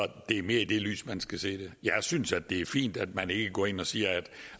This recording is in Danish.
det er mere i det lys man skal se det jeg synes at det er fint at man ikke går ind og siger